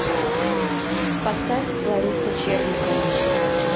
поставь лариса черникова